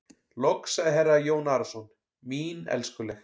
Loks sagði herra Jón Arason:-Mín elskuleg.